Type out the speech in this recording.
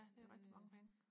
ja det er rigtig mange penge